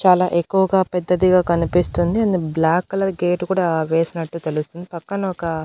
చాలా ఎక్కువగా పెద్దదిగా కనిపిస్తుంది అది బ్లాక్ కలర్ గేట్ కూడా వేసినట్టు తెలుస్తుంది పక్కన ఒక.